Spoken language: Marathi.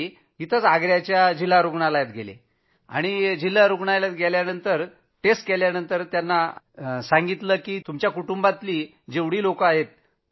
इथंच आग्रा जिल्हा रूग्णालयात त्यांना सांगण्यात आलं की आपण आपल्या कुटुंबातल्या सर्वाना बोलवून घ्या